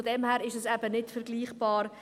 Daher ist es eben nicht vergleichbar.